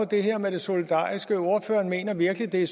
det her med det solidariske ordføreren mener virkelig at det